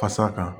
Fasa kan